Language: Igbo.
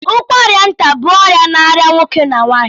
ụkwara nta bụ ọrịa na arịa nwoke na nwanyị